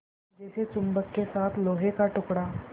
जैसे चुम्बक के साथ लोहे का टुकड़ा